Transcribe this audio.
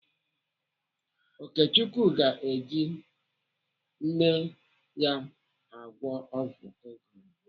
Okechukwu ga-eji nne ya agwọ ọgwụ ego.